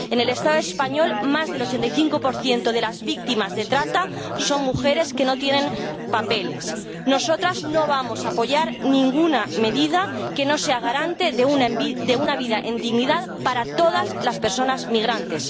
En el Estado español, más del 85 de las víctimas de trata son mujeres que no tienen papeles. Nosotras no vamos a apoyar ninguna medida que no sea garante de una vida en dignidad para todas las personas migrantes.